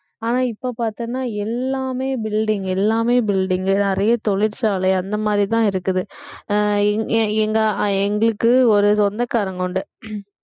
ஆனா இப்ப பார்த்தோம்னா எல்லாமே building எல்லாமே building நிறைய தொழிற்சாலை அந்த மாதிரிதான் இருக்குது அஹ் எங்க~ அஹ் எங்களுக்கு ஒரு சொந்தக்காரங்க உண்டு